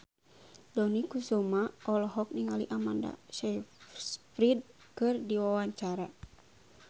Dony Kesuma olohok ningali Amanda Sayfried keur diwawancara